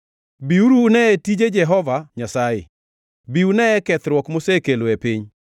Biuru uneye tije Jehova Nyasaye, bi uneye kethruok mosekelo e piny.